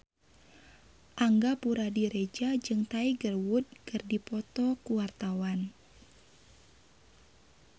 Angga Puradiredja jeung Tiger Wood keur dipoto ku wartawan